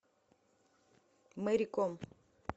мэри ком